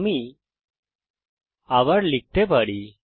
আমি লিখতে পারি